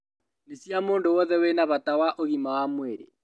Nĩ cia mũndũ wothe wina bata wa ũgima wa mwĩrĩ